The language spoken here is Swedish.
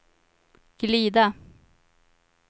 glida